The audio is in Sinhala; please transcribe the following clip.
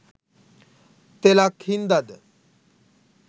තෙලක් හින්ද ද